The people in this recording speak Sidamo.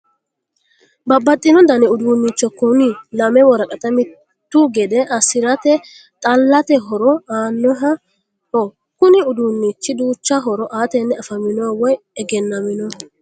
Babbaxxino dani uduunnicho kuni lame woraqata mittu gede assirate xallate horo aannoho kuni uduunnichi duucha horo aatenni afaminoho woyi egennaminoho